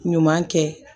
Ɲuman kɛ